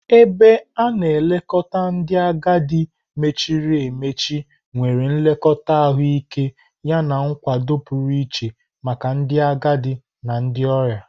Ebe a na-elekọta ndị agadi mechiri emechi nwere nlekọta ahụike yana nkwado pụrụ iche maka ndị agadi na ndị ọrịa.